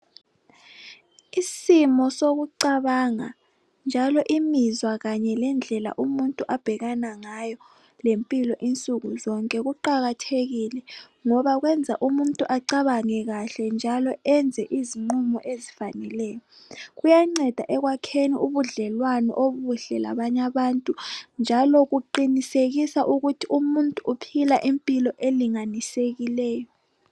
isimo sokucabanga njalo imizwa kanye lendlela umuntu abhekana ngayo lempilo insuku zonke kuqakathekile ngoba kuyenza umuntu acabange kahle njalo enze izinqumo ezifaneleyo, kuyanceda ekwakheni ubudlelwane obuhle labanye abantu njalo kuqinisekisa ukuthi umuntu uphila impilo elinganisekileyo.